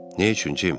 Nə üçün, Jim?